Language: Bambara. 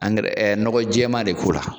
nɔgɔ jɛɛma de k'o la.